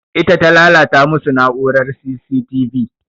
Ita ta lalata masu na'urar C.C.V.T